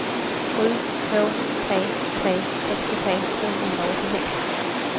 sju två tre tre sextiotre tvåhundraåttiosex